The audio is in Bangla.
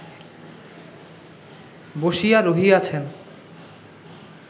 বসিয়া রহিয়াছেন